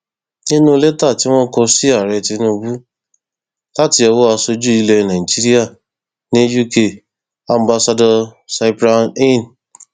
nínú lẹtà tí wọn kọ sí ààrẹ tinubu láti owó aṣojú ilẹ nàìjíríà ní uk ambassador cyprian heen